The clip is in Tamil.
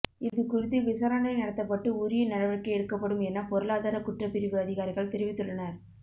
இது குறித்து விசாரணை நடத்தப்பட்டு உரிய நடவடிக்கை எடுக்கப்படும் என பொருளாதார குற்றப்பிரிவு அதிகாரிகள் தெரிவித்துள்ளனர்